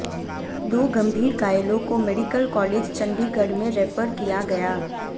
दो गंभीर घायलों को मेडिकल कालेज चंडीगढ़ में रेफर किया गया